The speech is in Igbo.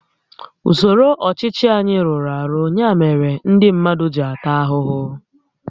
Usoro ọchịchị anyị rụrụ arụ, ya mere ndị mmadụ ji ata ahụhụ